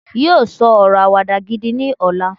yíò sọ ọrọ Àwàdà gidi ní ọlá